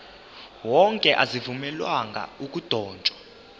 wonke azivunyelwanga ukudotshwa